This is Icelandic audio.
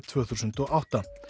tvö þúsund og átta